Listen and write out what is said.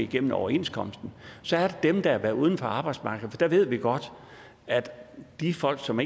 gennem overenskomsten så er der dem der har været uden for arbejdsmarkedet og der ved vi godt at det er folk som